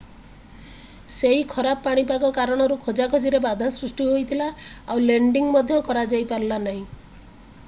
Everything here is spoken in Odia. ସେହି ଖରାପ ପାଣିପାଗ କାରଣରୁ ଖୋଜାଖୋଜିରେ ବାଧା ସୃଷ୍ଟି ହୋଇଥିଲା ଆଉ ଲେଣ୍ଡିଙ୍ଗ ମଧ୍ୟ କରାଯାଇପାରିଲା ନାହିଁ